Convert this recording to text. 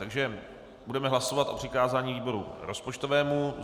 Takže budeme hlasovat o přikázání výboru rozpočtovému.